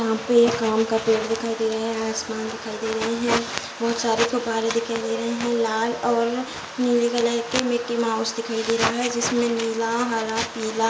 यहाँ पे एक आम का पेड़ दिखाई दे रहा है । आसमान दिखाई दे रहा है | बहुत सारे गुब्बारे दिखाई दे रहे हैं । लाल और नीले कलर का मिकि माउस दिखाई दे रहा है । जिसमे नीला हरा पीला --